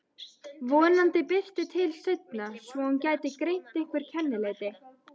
Vonandi birti til seinna svo hún gæti greint einhver kennileiti.